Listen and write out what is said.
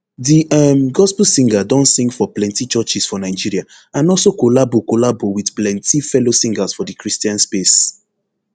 di um gospel singer don sing for plenti churches for nigeria and also collabo collabo wit plenti fellow singers for di christian space